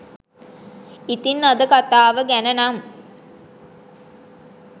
ඉතිං අද කථාව ගැන නම්